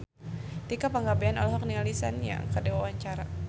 Tika Pangabean olohok ningali Sun Yang keur diwawancara